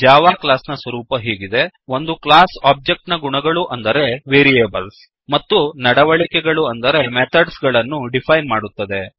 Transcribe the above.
Java class ನ ಸ್ವರೂಪ ಹೀಗಿದೆ160 ಒಂದು ಕ್ಲಾಸ್ ಒಬ್ಜೆಕ್ಟ್ ನ ಗುಣಗಳು ಅಂದರೆ ವೇರಿಯೇಬಲ್ಸ್ ಮತ್ತು ನಡವಳಿಕೆಗಳು ಅಂದರೆ ಮೆಥಡ್ಸ್ ಗಳನ್ನು ಡಿಫೈನ್ ಮಾಡುತ್ತದೆ